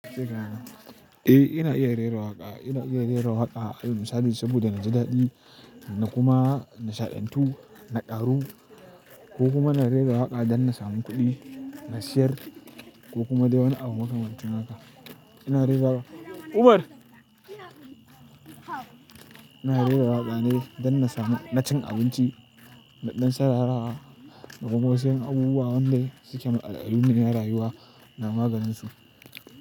Eh, ina iya rera waƙa. Ina iya rera waƙa alal misali sabida naji daɗi na kuma nishaɗantu, na ƙaru ko kuma na rera waƙa dan na samu kuɗi, na sayar ko kuma dai wani abu makamancin haka. Ina rera waƙa. Umar! Ina rera waƙa ne dan na samu na cin abinci, na ɗan sararawa da kuma wasu ƴan abubuwa wanda suke matsal-tsalu ne na rayuwa ina maganinsu.